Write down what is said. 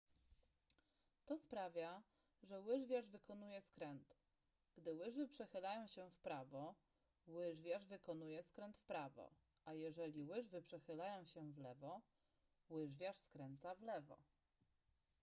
to sprawia że łyżwiarz wykonuje skręt gdy łyżwy przechylają się w prawo łyżwiarz wykonuje skręt w prawo a jeżeli łyżwy przechylają się w lewo łyżwiarz skręca w lewo